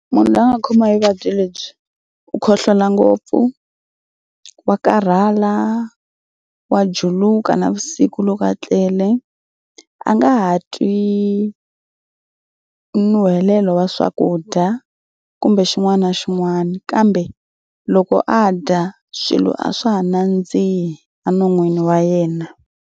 Munhu loyi a nga khoma hi vuvabyi lebyi u khohlola ngopfu, wa karhala, wa juluka navusiku loko a tlele. A nga ha twi nuhelelo wa swakudya kumbe xin'wana na xin'wana kambe loko a dya swilo a swa ha nandzihi enon'wini wa yena.